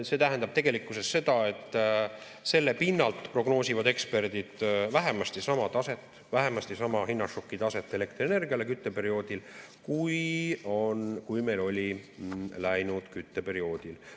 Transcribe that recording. See tähendab tegelikkuses seda, et selle pinnalt prognoosivad eksperdid vähemasti sama taset, vähemasti sama hinnašoki taset elektrienergiale kütteperioodil, kui meil oli läinud kütteperioodil.